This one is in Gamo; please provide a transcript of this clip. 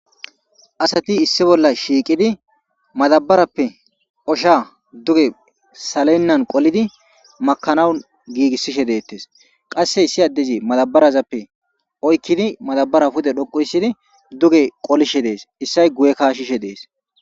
asati issi bolla shiiqidi madabarappe osha duge salennan qolidi makanawun giigissishe deettes qasse issi addezi madabarazappe oykkidi madabara pude dhoqu issidi duge qolishe dees issay guye kashishe dees